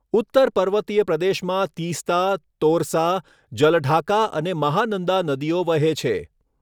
ઉત્તર પર્વતીય પ્રદેશમાં તીસ્તા, તોરસા, જલઢાકા અને મહાનંદા નદીઓ વહે છે.